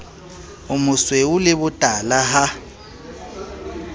o mosweu le botala ha